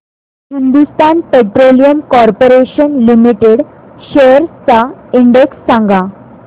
Hindustan petroleum corporation limited shares चा index सांगा